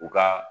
U ka